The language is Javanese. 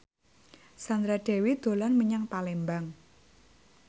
Sandra Dewi dolan menyang Palembang